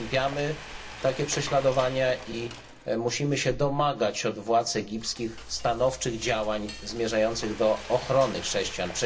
Potępiamy takie prześladowania i musimy się domagać od władz egipskich stanowczych działań zmierzających do ochrony chrześcijan.